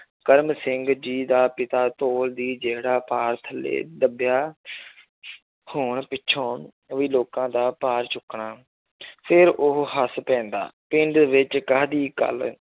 ਕਰਮ ਸਿੰਘ ਜੀ ਦਾ ਪਿਤਾ ਧੋਲ ਦੀ ਜਿਹੜਾ ਭਾਰ ਥੱਲੇ ਦੱਬਿਆ ਹੋਣ ਪਿੱਛੋਂ ਵੀ ਲੋਕਾਂ ਦਾ ਭਾਰ ਚੁੱਕਣਾ ਫਿਰ ਉਹ ਹੱਸ ਪੈਂਦਾ ਪਿੰਡ ਵਿੱਚ ਕਾਹਦੀ ਗੱਲ